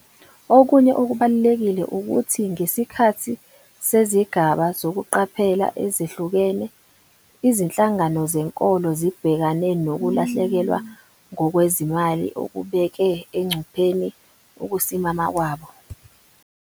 Okunye okubalulekile ukuthi ngesikhathi sezigaba zokuqaphela ezehlukene, izinhlangano zenkolo zibhekane nokulahlekelwa ngokwezimali okubeke engcupheni ukusimama kwabo.